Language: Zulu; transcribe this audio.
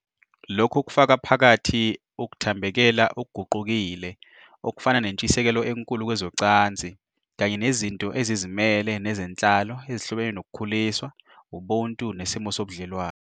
Lokhu kufaka phakathi ukuthambekela okuguqukile, okufana nentshisekelo enkulu kwezocansi, kanye nezinto ezizimele nezenhlalo ezihlobene nokukhuliswa, ubuntu nesimo sobudlelwano.